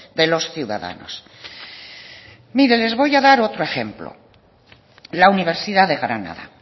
de los ciudadanos mire les voy a dar otro ejemplo la universidad de granada